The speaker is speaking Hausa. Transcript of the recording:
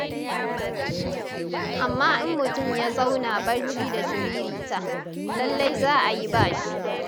Amma in mutum ya zauna barci da shiririta, lallai za a yi ba shi.